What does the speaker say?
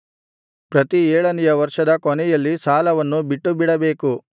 ಪ್ರತಿ ಏಳನೆಯ ವರ್ಷದ ಕೊನೆಯಲ್ಲಿ ಸಾಲವನ್ನು ಬಿಟ್ಟುಬಿಡಬೇಕು